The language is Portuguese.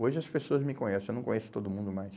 Hoje as pessoas me conhecem, eu não conheço todo mundo mais.